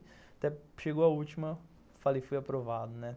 Até chegou a última, falei, fui aprovado, né?